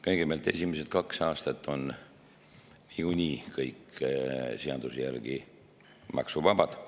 Kõigepealt, esimesed kaks aastat on ju niigi kõik seaduse järgi maksuvabad.